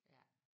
Ja